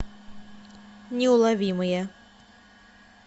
неуловимые